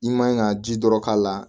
I man ka ji dɔ k'a la